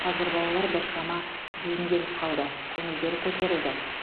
қазір балалар біршама бейімделіп қалды көңілдері көтерілді